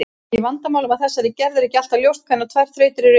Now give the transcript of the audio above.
Í vandamálum af þessari gerð er ekki alltaf ljóst hvenær tvær þrautir eru eins.